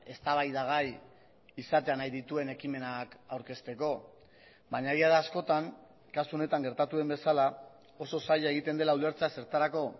eztabaidagai izatea nahi dituen ekimenak aurkezteko baina egia da askotan kasu honetan gertatu den bezala oso zaila egiten dela ulertzea zertarako